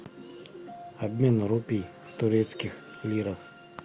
обмен рупий в турецких лирах